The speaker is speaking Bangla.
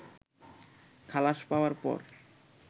খালাস পাওয়ার পর